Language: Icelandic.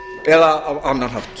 eða á annan hátt